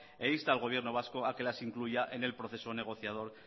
e insta al gobierno vasco a que las incluya en el proceso negociador